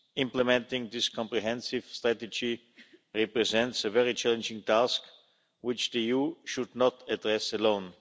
Implementing this comprehensive strategy represents a very challenging task, which the EU should not address alone.